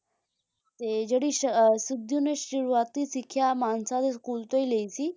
ਤੇ ਜਿਹੜੀ ਸਿੱਧੂ ਨੇ ਸ਼ੁਰੂਆਤੀ ਸਿਖਿਆ ਮਾਨਸਾ ਦੇ ਸਕੂਲ ਤੋਂ ਹੀ ਲਈ ਸੀ